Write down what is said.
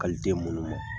den munnu ma